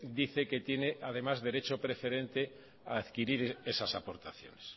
dice que tiene además derecho preferente a adquirir esas aportaciones